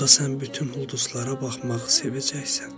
Onda sən bütün ulduzlara baxmağı sevəcəksən.